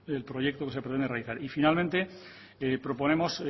el proyecto que se pretende realizar y finalmente proponemos